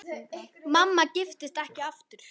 Mamma giftist ekki aftur.